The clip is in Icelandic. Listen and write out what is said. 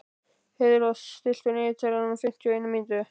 Heiðrós, stilltu niðurteljara á fimmtíu og eina mínútur.